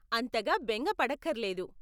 అంతగా బెంగ పడక్కర్లేదు!